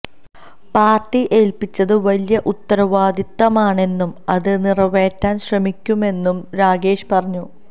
party ഏൽപിച്ചത് വലിയ ഉത്തരവാദിത്തമാണെന്നും അത് നിറവേറ്റാൻ ശ്രമിക്കുമെന്നും രാഗേഷ് പറഞ്ഞു